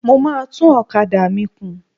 Mo máa tún ọ̀kadà mi kùn.